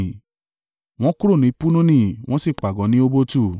Wọ́n kúrò ní Punoni wọ́n sì pàgọ́ ní Obotu.